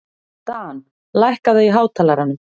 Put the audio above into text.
Dan, lækkaðu í hátalaranum.